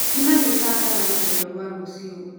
Nĩ marĩbangaga rũgendo rwao rũciũ.